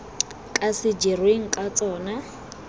ka se dirweng ka tsona